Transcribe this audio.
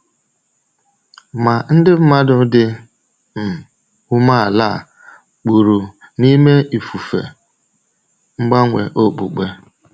Ma ndị mmadụ dị um umeala a kpụrụ n’ime ifufe mgbanwe okpukpe.